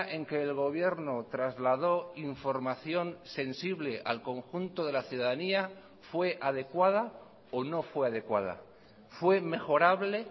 en que el gobierno trasladó información sensible al conjunto de la ciudadanía fue adecuada o no fue adecuada fue mejorable